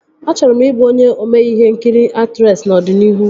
Achọrọ m ị bụ onye ome ihe nkiri aktresị n'ọdịnihu